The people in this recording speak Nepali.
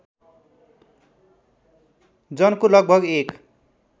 जनको लगभग १